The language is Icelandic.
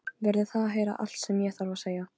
Verður að heyra allt sem ég þarf að segja.